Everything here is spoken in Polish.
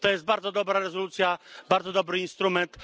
To jest bardzo dobra rezolucja, bardzo dobry instrument.